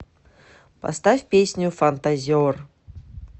поставь песню фантазер